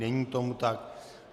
Není tomu tak.